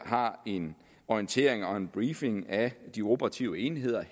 har en orientering og en briefing af de operative enheder